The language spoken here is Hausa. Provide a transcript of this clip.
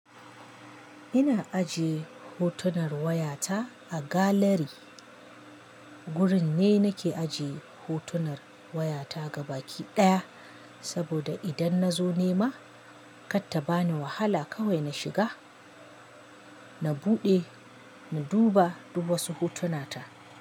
Ina ajiye hotunar waya ta a galari. Gurin ne nake ajiye hotunar waya ta gaba ki ɗaya, saboda idan na zo nema, kar ta bani wahala kawai na shiga, na buɗe, na duba dubasu hotunata.